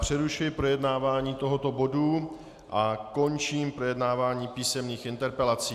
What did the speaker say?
Přerušuji projednávání tohoto bodu a končím projednávání písemných interpelací.